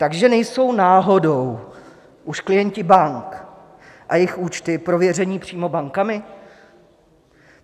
Takže nejsou náhodou už klienti bank a jejich účty prověřeni přímo bankami?